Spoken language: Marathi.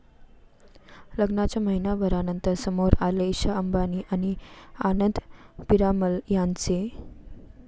लग्नाच्या महिन्याभरानंतर समोर आले ईशा अंबानी आणि आनंद पीरामल यांचे